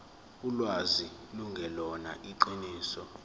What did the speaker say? ulwazi lungelona iqiniso